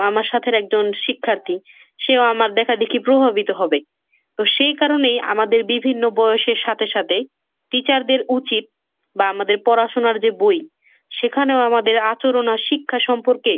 আমার সাথের একজন শিক্ষার্থী সেও আমার দেখাদেখি প্রভাবিত হবে। তো সেই কারণেই আমাদের বিভিন্ন বয়সের সাথে সাথে teacher দের উচিত বা আমাদের পড়াশোনার যে বই সেখানেও আমাদের আচরণ আর শিক্ষা সম্পর্কে